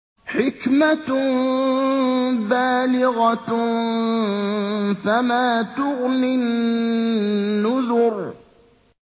حِكْمَةٌ بَالِغَةٌ ۖ فَمَا تُغْنِ النُّذُرُ